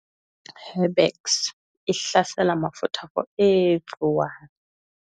Herbex e hlasela mafutha for everyone.